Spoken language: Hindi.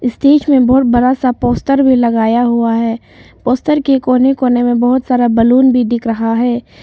स्टेज में बहुत बड़ा सा पोस्टर भी लगाया हुआ है पोस्टर के कोने कोने में बहुत सारा बैलून भी दिख रहा है।